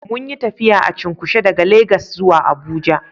Munyi tafiya a cunkushe daga Legas zuwa abuja